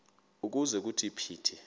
ukuze kuthi phithi